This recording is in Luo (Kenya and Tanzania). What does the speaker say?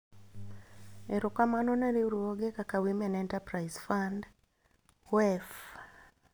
Erokamano ne riwruoge kaka Women Enterprise Fund (WEF).